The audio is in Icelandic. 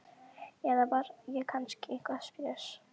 Eða var ég kannski eitthvað spes?